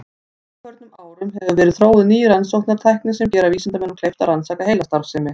Á undanförnum árum hafa verið þróuð ný rannsóknartæki sem gera vísindamönnum kleift að rannsaka heilastarfsemi.